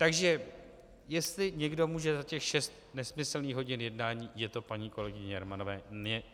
Takže jestli někdo může za těch šest nesmyslných hodin jednání, je to paní kolegyně Jermanová.